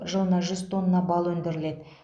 жылына жүз тонна бал өндіріледі